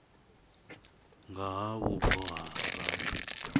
nga ha vhubvo ha vhathu